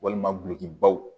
Walima gulɔkibaw